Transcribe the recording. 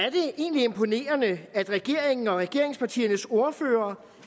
egentlig imponerende at regeringen og regeringspartiernes ordførere